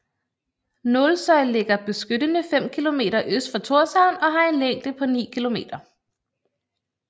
Nólsoy ligger beskyttende 5 Kilometer øst for Tórshavn og har en længde på 9 km